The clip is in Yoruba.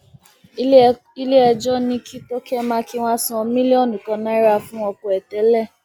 iléẹjọ ní kí tòkè mákínwá san mílíọnù kan náírà fún ọkọ ẹ tẹlẹ